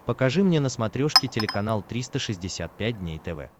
покажи мне на смотрешке телеканал триста шестьдесят пять дней тв